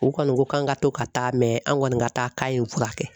U kɔni ko k'an ka to ka taa mɛ an kɔni ka taa k'a ye n furakɛ